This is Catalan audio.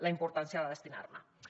la importància de destinar n’hi